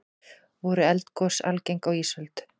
voru eldgos algeng á ísöld